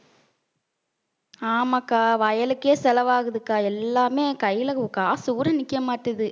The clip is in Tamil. ஆமாக்கா வயலுக்கே செலவாகுதுக்கா எல்லாமே கையில காசு கூட நிக்க மாட்டேங்குது.